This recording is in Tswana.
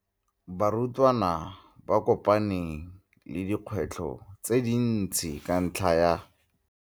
Barutwana ba kopane le dikgwetlho tse dintsi ka ntlha ya.